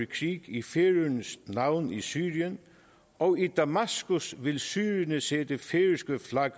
krig i færøernes navn i syrien og i damaskus vil syrerne se det færøske flag